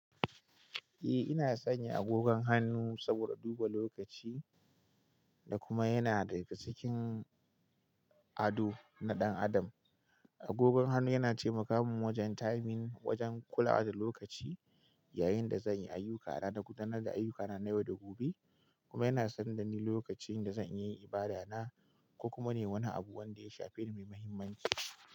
Eh, ina sanya agogon hannu saboda duba lokaci, da kuma yana daga cikin ado na ɗan adam. Agogon hannu yana taimaka mun wajen typing, wajen kulawa da lokaci yayin da zan yi ayyukkana na gudanar da ayyukkana na yau da gobe, kuma yana sanar da ni lokacin da zan iya yin ibada na, ko kuma nayi wani abu wanda ya shafe ni mai mahimmanci.